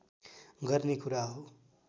गर्ने कुरा हो